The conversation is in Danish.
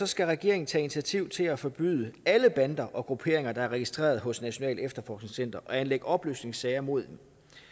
skal regeringen tage initiativ til at forbyde alle bander og grupperinger der er registreret hos nationalt efterforskningscenter og anlægge opløsningssager mod